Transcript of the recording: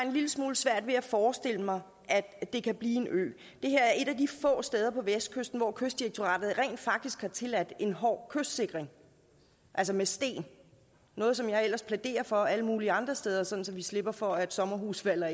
en lille smule svært ved at forestille mig at det kan blive en ø det her er et af de få steder på vestkysten hvor kystdirektoratet rent faktisk har tilladt en hård kystsikring altså med sten noget som jeg ellers plæderer for alle mulige andre steder sådan at vi slipper for at sommerhuse falder